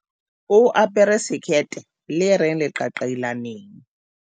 o apare sekete le reng leqaqailaneng